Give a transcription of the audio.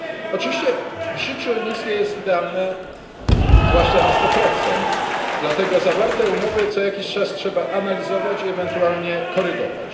Oczywiście w życiu nic nie jest idealne, zwłaszcza na 100, dlatego zawarte umowy co jakiś czas trzeba analizować i ewentualnie korygować.